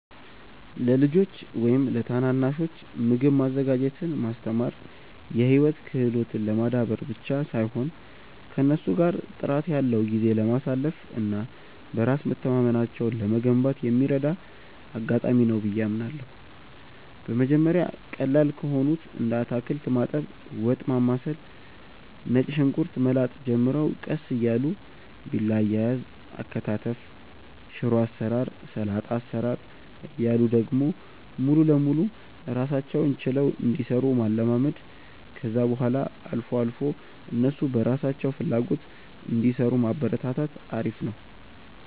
ለልጆች ወይም ለታናናሾች ምግብ ማዘጋጀትን ማስተማር የህይወት ክህሎትን ለማዳበር ብቻ ሳይሆን ከእነሱ ጋር ጥራት ያለው ጊዜ ለማሳለፍ እና በራስ መተማመናቸውን ለመገንባት የሚረዳ አጋጣሚ ነው ብዬ አምናለሁ። በመጀመሪያ ቀላል ከሆኑት እንደ አታክልት ማጠብ፣ ወጥ ማማሰል፣ ነጭ ሽንኩርት መላጥ ጀምረው ቀስ እያሉ ቢላ አያያዝ፣ አከታተፍ፣ ሽሮ አሰራር፣ ሰላጣ አሰራር እያሉ ደግሞ ሙሉ ለሙሉ ራሳቸውን ችለው እንዲሰሩ ማለማመድ፣ ከዛ በኋላ አልፎ አልፎ እነሱ በራሳቸው ፍላጎት እንዲሰሩ ማበረታታት አሪፍ ነው።